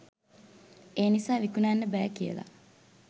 ඒ නිසා විකුණන්න බෑ කියලා.